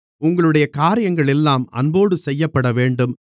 உங்களுடைய காரியங்களெல்லாம் அன்போடு செய்யப்படவேண்டும்